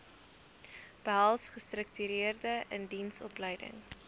behels gestruktureerde indiensopleiding